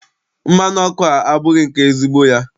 Mmanụ ọkụ a abụghị nke ezigbo ya.